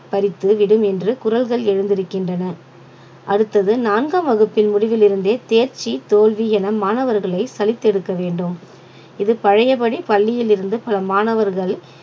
பறித்துவிடும் என்று குரல்கள் எழுந்திருக்கின்றன அடுத்தது நான்காம் வகுப்பின் முடிவில் இருந்தே தேர்ச்சி தோல்வி என மாணவர்களை சலித்தெடுக்க வேண்டும் இது பழையபடி பள்ளியிலிருந்து பல மாணவர்கள்